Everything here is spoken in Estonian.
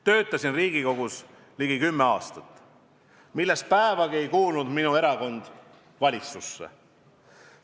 Töötasin Riigikogus ligi kümme aastat, millest päevagi ei kuulunud minu erakond valitsusse.